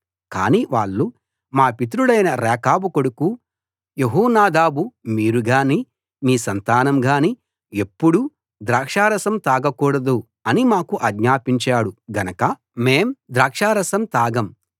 కాని వాళ్ళు మా పితరుడైన రేకాబు కొడుకు యెహోనాదాబు మీరు గానీ మీ సంతానం గానీ ఎప్పుడూ ద్రాక్షారసం తాగకూడదు అని మాకు ఆజ్ఞాపించాడు గనక మేం ద్రాక్షారసం తాగం